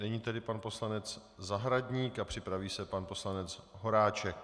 Nyní tedy pan poslanec Zahradník a připraví se pan poslanec Horáček.